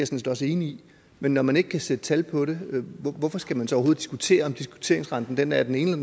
set også enig i men når man ikke kan sætte tal på det hvorfor skal man så overhovedet diskutere om diskonteringsrenten er den ene